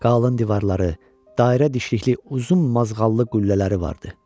Qalın divarları, dairə dişlikli uzun mazğallı qüllələri vardı.